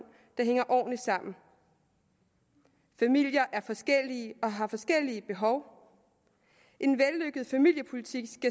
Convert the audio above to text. der hænger ordentligt sammen familier er forskellige og har forskellige behov en vellykket familiepolitik